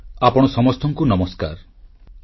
• ସ୍ୱଚ୍ଛତା ଅଭ୍ୟାସ ପାଇଁ ଲୋଡା ବୈଚାରିକ ଆନ୍ଦୋଳନ